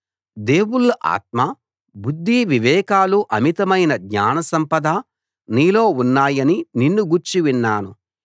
దేవుళ్ళ ఆత్మ బుద్ది వివేకాలు అమితమైన జ్ఞాన సంపద నీలో ఉన్నాయని నిన్ను గూర్చి విన్నాను